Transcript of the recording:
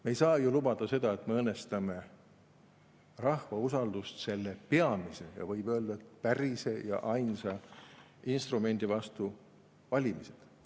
Me ei saa ju lubada seda, et me õõnestame rahva usaldust selle peamise, ja võib öelda, päris ainsa instrumendi vastu – valimised.